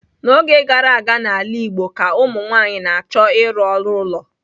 N'oge gara aga n'ala Igbo ka ụmụ nwanyị na-achọ ịrụ ọrụ ụlọ.